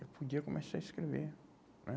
Eu podia começar a escrever né?